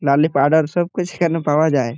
নালে পাড়ার সব কিছু কেন পাওয়া যায়।